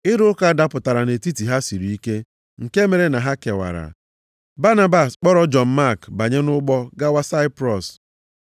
Ịrụ ụka dapụtara nʼetiti ha siri ike nke mere na ha kewara. Banabas kpọrọ Jọn Mak banye nʼụgbọ gawa Saiprọs.